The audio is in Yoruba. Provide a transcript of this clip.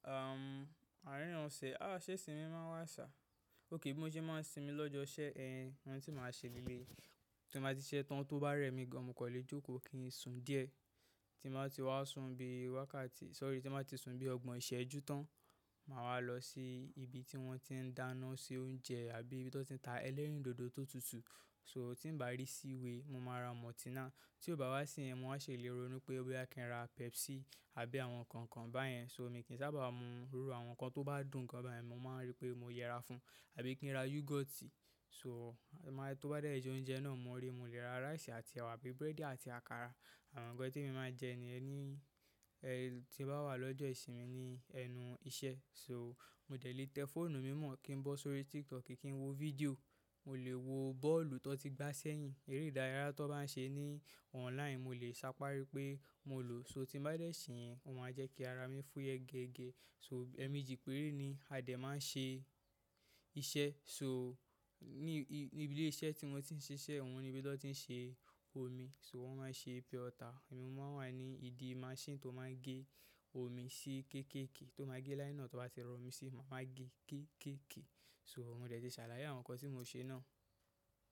Àárín ọ̀sẹ̀, ṣe ìsinmi máa wà sá. Ókay bíi mo máa sinmi lọ́jọ́ iṣẹ́, ohun tí màá ṣe leleyii, tí mo bá ti siṣẹ́ tán tó bá rẹ́ mi gan, mo kò lè jókòó kí n sùn díẹ̀. Tí n bá ti wá sùn bí wákàtí, sorry, tí n bá ti sùn bí ọgbọ̀n ìṣẹ́jú tán, màá wá lọ sí ibi tí wọ́n ti ń dáná, ṣe oúnjẹ àbí ibi tí wọ́n ti ń ta ẹlẹ́rìndòdò tó tutù. So tí ń bá rí seaway, mo máa ra Multina. Tí ó bá wá sí ẹ̀yìn, mo máa ṣe lé rònú pé bóyá kí n ra Pepsi àbí àwọn nǹkan kan báyẹn. So mi kì í sábà mu iru àwọn nǹkan tó bá dùn gan báyẹn, mo máa rí pé mo yẹra fún àbí kí n ra yoghurt. So, tó bá dẹ́ jẹ ọ́únjẹ náà, mo rí mo lè ra rice àti ẹwà àbí búrẹ́dì àti àkàrà, àwọn nǹkan tí emi máa ń jẹ niyen ni tí bá wà lọ́jọ́ ìsinmi ni ẹnu iṣẹ́. So mo dẹ̀ lé tẹ fóònù mi mọ̀ kí n bọ́ sórí TikTok kí n wo fídíò, mo lè wo bọ́ọ̀lù tó ti gbá sẹ́yìn, eré ìdárayá tó bá ń ṣe ní online mo lè sáparí pé mo lò. So tí ń bá dẹ́ ṣe ẹ̀yen, ó máa jẹ́ kí ara mi fúnyẹ gẹ́gẹ́. So ẹ̀meejí péré ni a dẹ̀ máa ń ṣe iṣẹ́. So ní ibi ilé iṣẹ́ tí mo ti ń ṣiṣẹ́, wọ́n ni ibi tí wọ́n ti ń ṣe omi. So wọ́n máa ń ṣe pure water. Emi ni mo máa wà ní ìdí machine tó máa ń gé omi sí kéékèèké, tó máa gé nylon tó bá ti rọ omi sí i, mo máa gé kéékèèké. So mo dẹ̀ ti ṣàlàyé àwọn nǹkan tí mo ṣe náà.